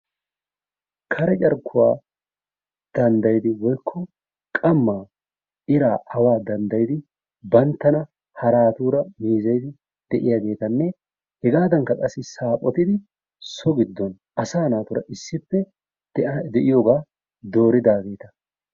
Kare carkkuwa danddaydi woykko qammaa iraa awaa danddayidi banttana haraatuura meezeyidi de'iyageetanne hegaadankka qassi saphotidi so giddon asaa naatuura issippe de'iyogaa dooridaageeta.